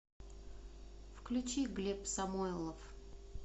включи глеб самойлов